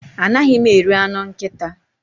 Anaghị m eri anụ nkịta.